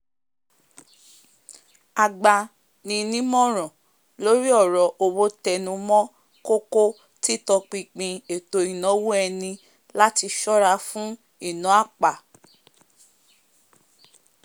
agba ni nímòràn lórí ọ̀rọ̀ owó tẹnumọ́ kókó títọpinpin ètò ìnáwó ẹni láti sọ́ra fún ìná àpà